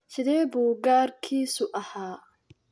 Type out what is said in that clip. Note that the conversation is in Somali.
Sidee buu garkiisu ahaa?